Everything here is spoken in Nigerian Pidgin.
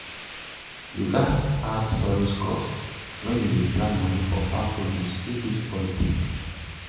you gats add storage cost when you dey plan moni for farm produce wey fit spoil quick.